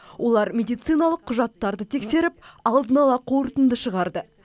олар медициналық құжаттарды тексеріп алдын ала қорытынды шығарды